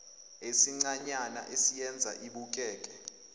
esincanyana esiyenza ibukeke